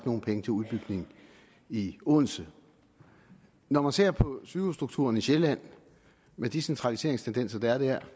nogen penge til udbygningen i odense når man ser på sygehusstrukturen i sjælland med de centraliseringstendenser der er der